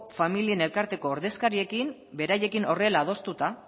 familien elkarteko familiekin beraiekin horrela adostuta